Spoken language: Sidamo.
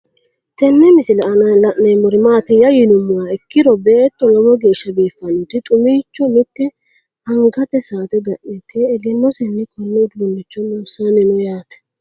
Tenne misile aanna la'neemmori maattiya yinummoha ikkiro beetto lowo geeshsha biiffannotti xumicho miitte angatte saatte ga'nitte, egenosenni koone uduuncho loosanni noo yaatte